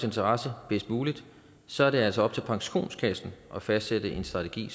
interesser bedst muligt så er det altså op til pensionskassen at fastsætte en strategi